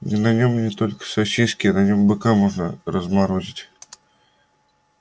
на нём не только сосиски на нём быка можно разморозить